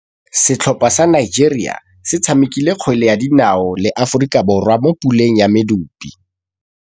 Setlhopha sa Nigeria se tshamekile kgwele ya dinaô le Aforika Borwa mo puleng ya medupe.